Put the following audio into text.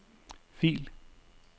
fil